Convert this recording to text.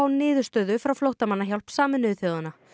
niðurstöðu hjá flóttamannahjálp Sameinuðu þjóðanna